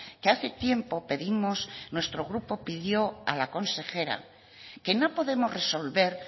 que hace tiempo pedimos nuestro grupo pidió a la consejera que no podemos resolver